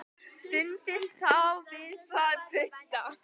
Studdist þá við tvo putta.